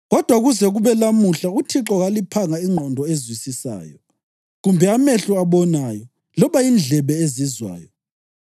Kodwa kuze kube lamuhla uThixo kaliphanga ingqondo ezwisisayo, kumbe amehlo abonayo, loba indlebe ezizwayo.